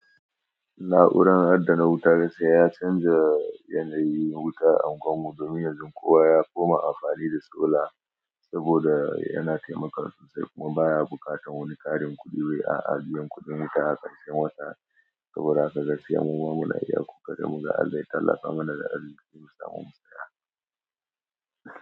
Na'uran adana wuta sai ya canza yanayi wuta a unguwar mu domin yanzu kowa ya koma amfani da sola saboda yana taimakawa sosai sai kuma baya buƙatar wani ƙarin kuɗi wai a ajiyan kuɗin wuta a ƙarshen wata. Saboda haka gaskiya maman mu na iya kuka da muka Allah ya tallafa mana da arziki mu samu mu saya.